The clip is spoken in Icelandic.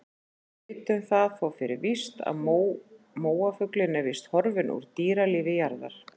Við vitum það þó fyrir víst að móafuglinn er horfinn úr dýralífi jarðar.